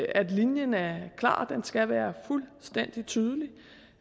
at linjen er klar det skal være fuldstændig tydeligt